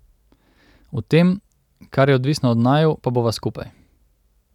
V tem, kar je odvisno od naju, pa bova skupaj.